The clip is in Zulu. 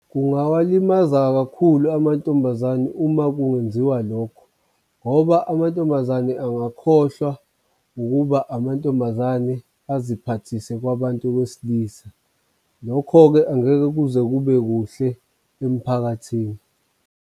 Kungawalimaza kakhulu amantombazane uma kungenziwa lokho, ngoba amantombazane angakhohlwa ukuba amantombazane aziphathise kwabantu besilisa. Lokho-ke angeke kuze kube kuhle emphakathini.